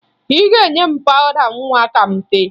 Ị ga-enye m pawụda nwa ka m tee